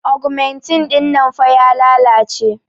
augmentin dinnan fah ya lalace